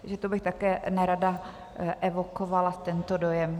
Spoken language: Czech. Takže to bych také nerada evokovala, tento dojem.